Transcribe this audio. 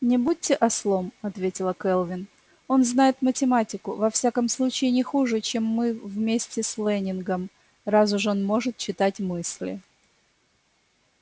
не будьте ослом ответила кэлвин он знает математику во всяком случае не хуже чем мы вместе с лэннингом раз уж он может читать мысли